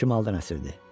Şimaldan əsirdi.